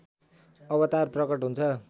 अवतार प्रकट हुन्छ